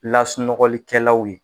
Lasunɔgɔlikɛlaw ye